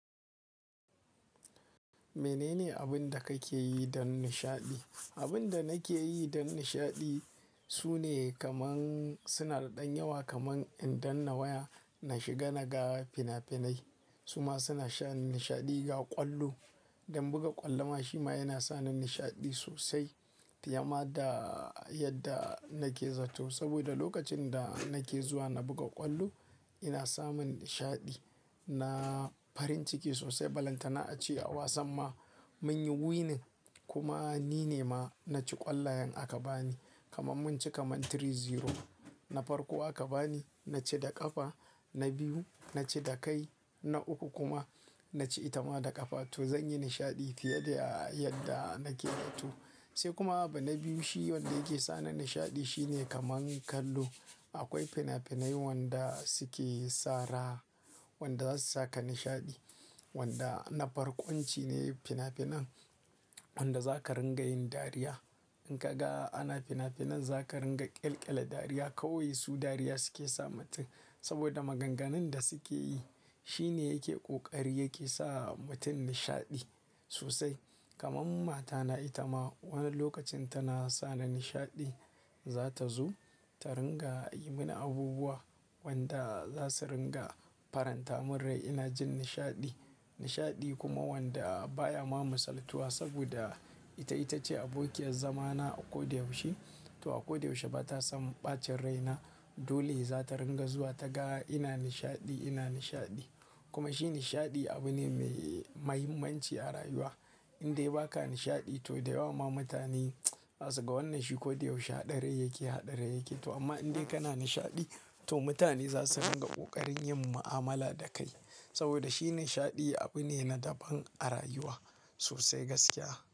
Menene abin da kake yi don nishaɗi? Abin da nake yi don nishaɗi su ne kaman suna da ɗan yawa kaman in danna waya, na shiga naga fina-finai. Su ma suna sha nishaɗi ga ƙwallo. Dan buga ƙwallo ma shi ma yana sa ni nishaɗi sosai. Fiyama da yadda nake zatto saboda lokacin da nake zuwa na buga ƙwallo, ina samun nishaɗi. Na farin ciki sosai. Balanta na a ci a wasan ma mun yi winning kuma ni ne ma na ci ƙwallayen aka bani. Kaman mun ci kaman three zero. Na farko aka bani, na ci da ƙafa. Na biyu na ci da kai. Na uku kuma na ci ita ma da ƙafa. To zan yi nishaɗi fiye da yadda nake zatto. Sai kuma bana biyu shi wanda yake sa ni nishaɗi shine kaman kallo. Akwai fina-finai wanda suke sara wanda za su saka nishaɗi. Wanda na farko wancine fina-finan wanda za ka ringa yin dariya. In ka ga ana fina-finan za ka ringa ƙyalƙya la dariya. Kauye su dariya suke sa mutum saboda maganganun da suke yi shine yake ƙoƙari yake sa mutum nishaɗi sosai. Kaman matana ita ma wani lokacin tana sa ni nishaɗi. Za ta zo ta ringa yi mini abubuwa wanda za su ringa faranta min rai. Ina jin nishaɗi, nishaɗi kuma wanda baya ma musaltuwa saboda ita ita ce abokiyar zamana a kodayaushe. To a kodayaushe ba ta san ɓacin rai na. Dole za ta ringa zuwa ta ga ina nishaɗi, ina nishaɗi. Kuma shi nishaɗi abu ne mai mahimmanci a rayuwa. Inde baka nishaɗi to da yawa ma mutane za su ga wannan shi kodayaushe haɗare yake, haɗare yake. To amma indai kana nishaɗi to mutane za su ringa ƙoƙarin yin mu'amala da kai saboda shi nishaɗi abu ne na daban a rayuwa sosai gaskiya.